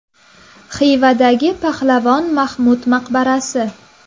Xivadagi Pahlavon Mahmud maqbarasi.